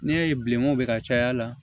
N'i y'a ye bilen o bɛ ka caya la